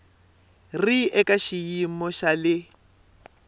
ri eka xiyimo xa le